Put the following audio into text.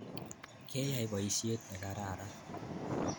Keyai poisyet ne kararan